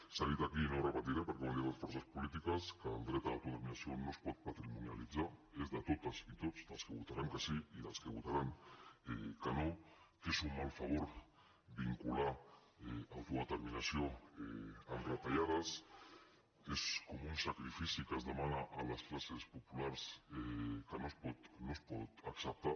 s’ha dit aquí i no ho repetiré perquè ho han dit les forces polítiques que el dret a l’autodeterminació no es pot patrimonialitzar és de totes i tots dels que votaran que sí i dels que votaran que no que és un mal favor vincular autodeterminació amb retallades és com un sacrifici que es demana a les classes populars que no es pot acceptar